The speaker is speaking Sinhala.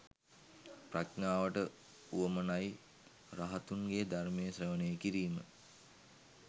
ප්‍රඥාවට වුවමනයි රහතුන්ගේ ධර්මය ශ්‍රවණය කිරීම